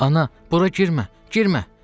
Ana, bura girmə, girmə!